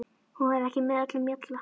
Hún væri ekki með öllum mjalla.